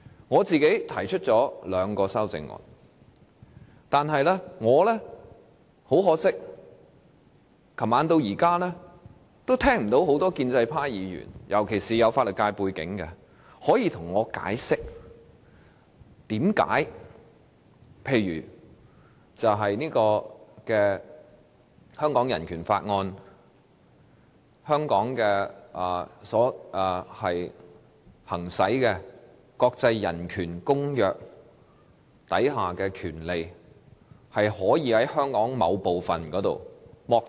我提出了兩項修正案，但很可惜，由昨晚至今，我也聽不到建制派尤其是有法律界背景的議員向我解釋，為何例如《香港人權法案條例》及國際人權公約賦予的權利，可以在香港某個地方被剝奪？